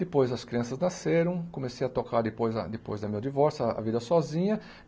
Depois as crianças nasceram, comecei a tocar depois da depois da do meu divórcio, a a vida sozinha.